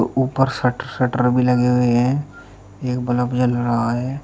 ऊपर shut shutter भी लगे हुए हैं एक बल्ब जल रहा है।